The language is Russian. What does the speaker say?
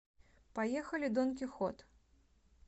поехали дон кихот